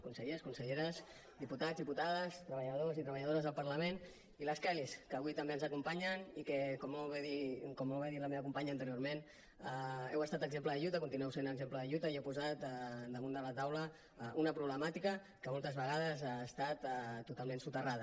consellers conselleres diputats diputades treballadors i treballadores del parlament i les kellys que avui també ens acompanyen i com molt bé ha dit la meva companya anteriorment heu estat exemple de lluita continueu sent exemple de lluita i heu posat damunt de la taula una problemàtica que moltes vegades ha estat totalment soterrada